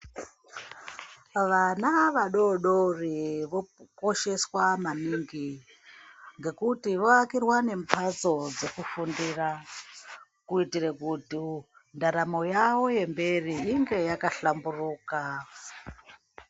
Vana vadodiri vokosheswa maningi ngekuti voakirwa nemhatso dzekufundira kuitire kuti ndaramo yawo yemberi inge yakahlamburuka.